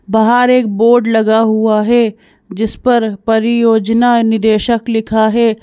बाहर एक बोर्ड लगा हुआ है जिस पर परियोजना निदेशक लिखा है।